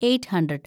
eight hundred